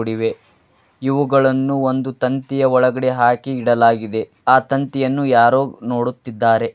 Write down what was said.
ಇವೆ ಇವುಗಳನ್ನು ಒಂದು ತಂತಿಯ ಒಳಗಡೆ ಹಾಕಿ ಇಡಲಾಗಿದೆ ಆ ತಂತಿಯನ್ನು ಯಾರೋ ನೋಡುತ್ತಿದಾರೆ.